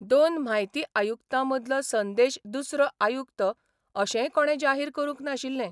दोन म्हायती आयुक्तांमदलो संदेश दुसरो आयुक्त अशेंय कोणें जाहीर करूंक नाशिल्ले.